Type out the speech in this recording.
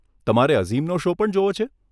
તમારે અઝીમનો શો પણ જોવો છે?